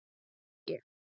Helgi